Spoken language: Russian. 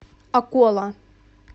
акола